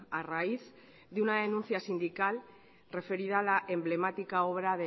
a raíz de una denuncia sindical referida a la emblemática obra